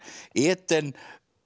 Eden